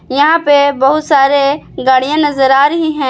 यहाँ पे बहुत सारे गाड़ियाँ नज़र आ रही हैं।